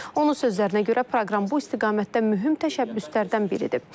Onun sözlərinə görə, proqram bu istiqamətdə mühüm təşəbbüslərdən biridir.